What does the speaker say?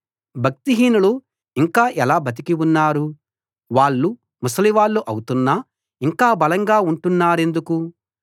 భక్తిహీనులు ఇంకా ఎలా బతికి ఉన్నారు వాళ్ళు ముసలివాళ్ళు అవుతున్నా ఇంకా బలంగా ఉంటున్నారెందుకు